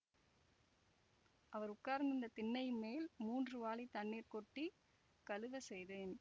அவர் உட்கார்ந்திருந்த திண்ணையின்மேல் மூன்று வாளித் தண்ணீர் கொட்டி கழுவச் செய்தேன்